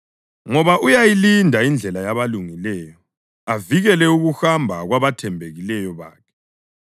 ngoba uyayilinda indlela yabalungileyo avikele ukuhamba kwabathembekileyo bakhe.